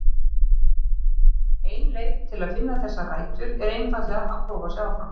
Ein leið til að finna þessar rætur er einfaldlega að prófa sig áfram.